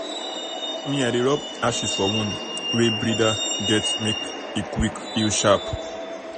me i dey rub ashes for wound wey breeder get make make e quick heal sharp-sharp.